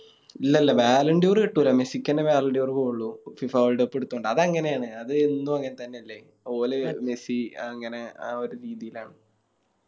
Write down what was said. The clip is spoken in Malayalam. ഇല്ല ഇല്ല കിട്ടൂല മെസ്സിക്കെന്നെ പോവുള്ളു FIFAWorldcup എടുത്തോണ്ട് അത് അങ്ങനെയാന്ന് അതെന്നും അങ്ങനെത്തന്നെയല്ലേ ഓല് മെസ്സി അങ്ങനെ ആ ഒര് രീതിലാണ്